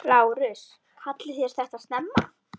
LÁRUS: Kallið þér þetta snemma?